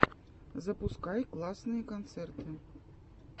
запускай классные концерты